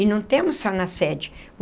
E não temos só na sede.